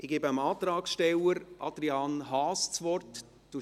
Ich gebe dem Antragsteller, Adrian Haas, das Wort.